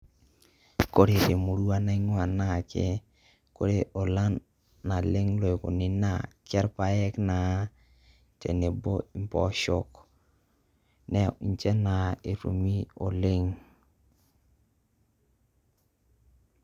Kore te murua naing'ua naake kore olan naleng' loikuni naa ke irpaek naa tenebo mpoosho, na nje naa etumi oleng'.